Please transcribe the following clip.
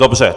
Dobře.